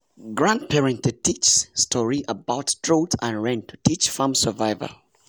grandparents dey tell story about drought and rain to teach farm survival.